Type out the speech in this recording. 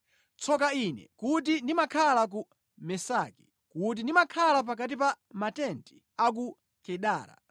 Tsoka ine kuti ndimakhala ku Mesaki, kuti ndimakhala pakati pa matenti a ku Kedara!